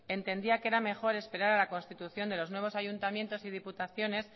entendía que era mejor esperar a la constitución de los nuevos ayuntamientos y diputaciones